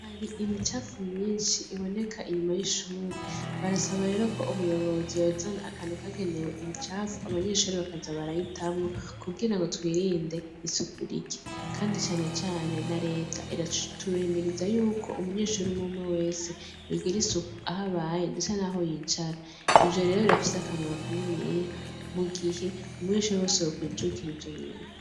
Hari imicafu myinshi iboneka inyuma y'ishure barasaba rero ko ubuyobozi yozana akantu kagenewe imicafu abanyeshuri bakaza barayitamwo kugira ngo twirinde isukur iki, kandi canecane na reta iraturimiriza yuko umunyeshuri mwumwe wese yugire isuku aho abaye ndeca, naho yicara rero yafise akamaro kanene yeya mu gihe umuishawewose wokwijukira ivyo bintu.